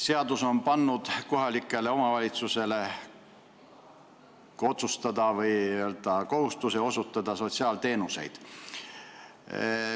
Seadus on pannud kohalikele omavalitsustele kohustuse osutada sotsiaalteenuseid.